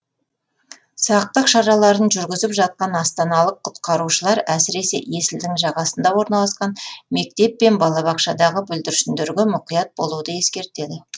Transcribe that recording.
сақтық шараларын жүргізіп жатқан астаналық құтқарушылар әсіресе есілдің жағасында орналасқан мектеп пен балабақшадағы бүлдіршіндерге мұқият болуды ескертеді